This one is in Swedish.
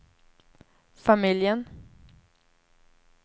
familjen